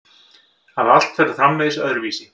Að allt verður framvegis öðruvísi.